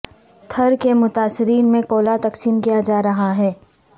تھر کے متاثرین میں کولا تقسیم کیا جا رہا ہے